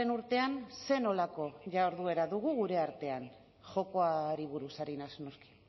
urtean zer nolako jarduera dugu gure artean jokoari buruz ari naiz noski